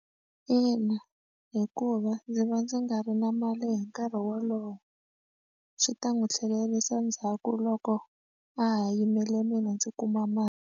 Ina, hikuva ndzi va ndzi nga ri na mali hi nkarhi wolowo swi ta n'wi tlhelerisa ndzhaku loko a ha yimele mina ndzi kuma mali.